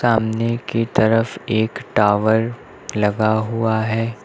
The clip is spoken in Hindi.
सामने की तरफ एक टावर लगा हुआ है।